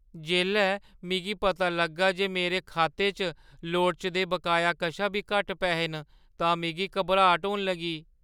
जेल्लै मिगी पता लग्गा जे मेरे खाते च लोड़चदे बकाए कशा बी घट्ट पैहे न तां मिगी घबराट होन लगी।